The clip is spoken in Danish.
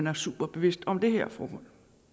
er superbevidste om det her forhold